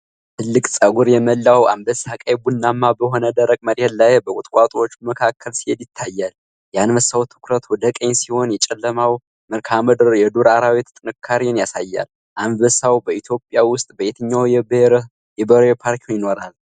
ትልቅ፣ ፀጉር የሞላው አንበሳ ቀይ ቡናማ በሆነ ደረቅ መሬት ላይ በቁጥቋጦዎች መካከል ሲሄድ ይታያል። የአንበሳው ትኩረት ወደ ቀኝ ሲሆን፣ የጨለማው መልክዓ ምድር የዱር አራዊት ጥንካሬን ያሳያል። አንበሳው በኢትዮጵያ ውስጥ በየትኞቹ የብሔራዊ ፓርኮች ይኖራል?